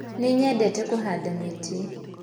Nĩnyendete kuhanda mĩtĩ